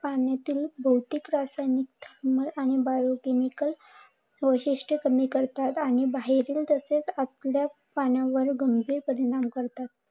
पाण्यातील रासायनिक आणि बायो केमिकल व्याशिष्ट कमी करतात आणि बाहेरील तसेच आतल्या पाण्यावर गंभीर परिणाम करतात.